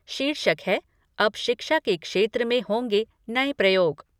शीर्षक है अब शिक्षा के क्षेत्र में होंगे नए प्रयोग।